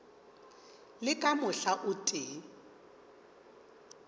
le ka mohla o tee